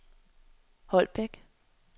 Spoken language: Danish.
Holbæk